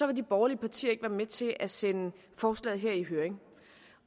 vil de borgerlige partier ikke være med til at sende forslaget i høring